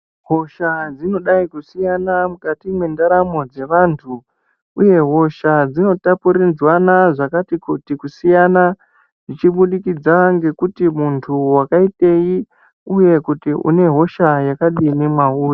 Hosha dzinodai kusiyana mukati mwendaramo dzevantu uye hosha dzinotapudzirwana zvakati kuti kusiyana zvichibudikidza ngekuti muntu wakaitei uye kuti une hosha yakadini mwauri.